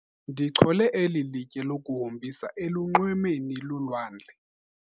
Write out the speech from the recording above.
Ndichole eli litye lokuhombisa elunxwemeni lolwandle.